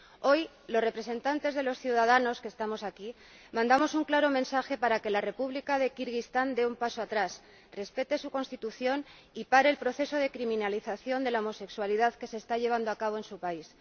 Hoy, los representantes de los ciudadanos que estamos aquí mandamos un claro mensaje para que la República de Kirguistán dé un paso atrás, respete su Constitución y pare el proceso de criminalización de la homosexualidad que se está llevando a cabo en su país.